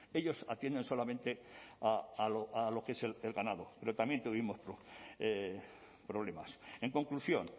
ellos atienden solamente a lo que es el ganado pero también tuvimos problemas en conclusión